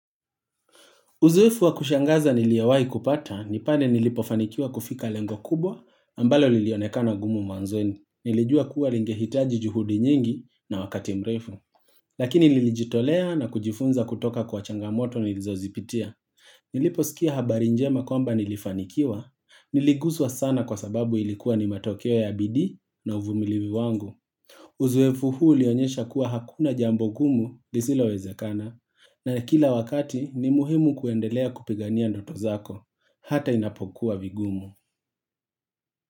Uzeefu wa kushangaza niliowahi kupata, nipale nilipofanikiwa kufika lengo kubwa, ambalo lilionekana gumu mwanzoni. Nilijua kuwa lingehitaji juhudi nyingi na wakati mrefu. Lakini nilijitolea na kujifunza kutoka kwa changamoto nilizo zipitia. Niliposikia habari njema kwamba nilifanikiwa, niliguzwa sana kwa sababu ilikuwa ni matokeo ya bidii na uvumilivi wangu. Uzoefu huu ulionyesha kuwa hakuna jambo gumu lisilo wezekana, na kila wakati ni muhimu kuendelea kupigania ndoto zako Hata inapokuwa vigumu.